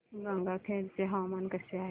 गंगाखेड चे हवामान कसे आहे